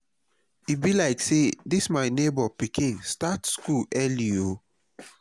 e be like say dis my nebor pikin quick start school o